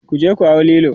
kuje ku hau Lilo!